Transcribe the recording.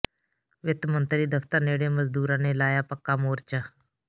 ਵਿੱਤ ਮੰਤਰੀ ਦਫ਼ਤਰ ਨੇੜੇ ਮਜ਼ਦੂਰਾਂ ਨੇ ਲਾਇਆ ਪੱਕਾ ਮੋਰਚਾ